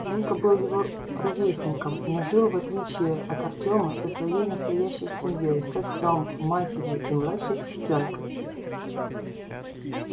женька был его ровесником но жил в отличие от артёма со своей настоящей семьёй с отцом матерью и младшей сестрёнкой